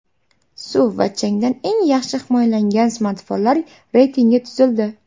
Suv va changdan eng yaxshi himoyalangan smartfonlar reytingi tuzildi.